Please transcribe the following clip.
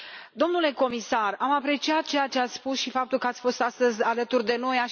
Domnule comisar, am apreciat ceea ce ați spus și faptul că ați fost astăzi alături de noi.